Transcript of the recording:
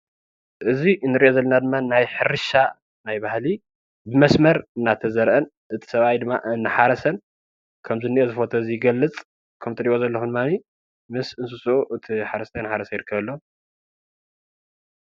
እዚ እንሪእዮ ዘለና ድማ ናይ ሕርሻ ናይ ባህሊ ብመስመር እናተዘርአን እቲ ሰብኣይ ድማ እናሓረሰን ከምዝንሄ እዚ ፎቶ ይገልፅ። ከም ትርእይዎ ዘለኩም ድማኒ ምስ እንስስኡ እቱይ ሓረስታይ እናሓሰረ ይርከብ ኣሎ።